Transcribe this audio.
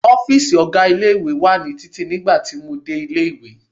Ọ́fíìsì ọ̀gá ilé-ìwé wa ní títì nígbà tí mo dé ilé-ìwé.